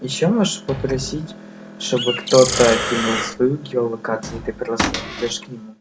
ещё можешь попросить чтобы кто-то кинул свою геолокацию и ты просто придёшь к нему